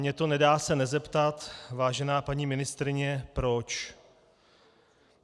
Mně to nedá se nezeptat, vážená paní ministryně, proč.